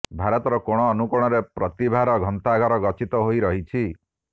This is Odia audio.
ଭାରତର କୋଣ ଅନୁକୋଣରେ ପ୍ରତିଭାର ଗନ୍ତାଘର ଗଚ୍ଛିତ ହୋଇ ରହିଛି